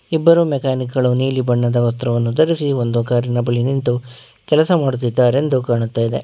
ಇಬ್ಬರು ಮೆಕ್ಯಾನಿಕ್ ಗಳು ನೀಲಿ ಬಣ್ಣದ ವಸ್ತ್ರವನ್ನು ದರಸಿ ಒಂದು ಕಾರಿ ನ ಬಳಿ ನಿಂತು ಕೆಲಸ ಮಾಡುತಿದ್ದಾರೆಂದು ಕಾಣುತ್ತಾಇದೆ.